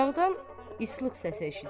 Uzaqdan ıslıq səsi eşidilir.